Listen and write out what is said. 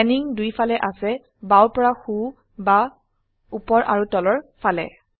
panning দুই ফালে আছে বাও পৰা সো বা উপৰ আৰু তলৰ ফালে